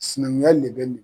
Sinankunya le bɛ nin